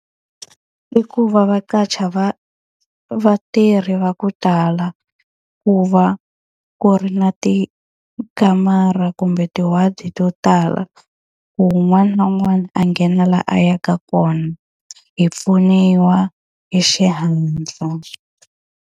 I ku va va qasha vatirhi va ku tala, ku va ku ri na tikamara kumbe ti-ward-i to tala. Ku un'wana na un'wana a nghena laha a yaka kona, hi pfuniwa hi xihatla.